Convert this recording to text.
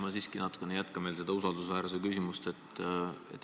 Ma siiski natukene jätkan veel seda usaldusväärsuse küsimust.